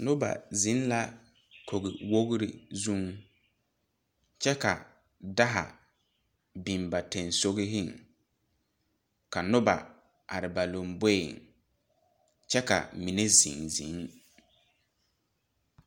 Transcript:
Noba zeŋ la kogiwogri zuŋ kyɛ ka daa a biŋ ba sensɔgɔŋ ka noba are ba lomboeŋ kyɛ ka mine zeŋ zeŋ.